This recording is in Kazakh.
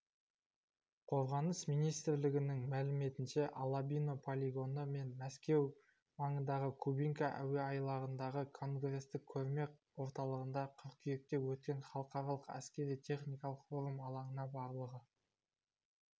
қорғаныс министрлігінің мәліметінше алабино полигоны мен мәскеу маңындағы кубинка әуеайлағындағы конгресстік-көрме орталығында қыркүйекте өткен халықаралық әскери-техникалық форум алаңына барлығы